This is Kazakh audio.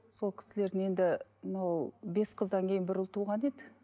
сол кісілердің енді мынау бес қыздан кейін бір ұл туған еді